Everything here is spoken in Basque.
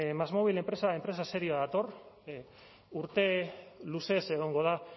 másmóvil enpresa serioa dator urte luzez egongo da